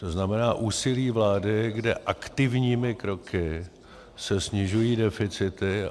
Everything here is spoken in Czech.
To znamená úsilí vlády, kde aktivními kroky se snižují deficity.